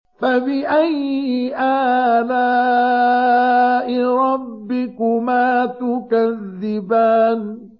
فَبِأَيِّ آلَاءِ رَبِّكُمَا تُكَذِّبَانِ